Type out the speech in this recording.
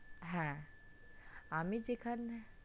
হ্যাঁ আমি যেখানে,